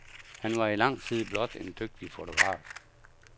Han var i lang tid blot en dygtig fotograf.